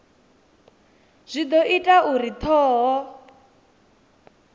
zwi do ita uri thoho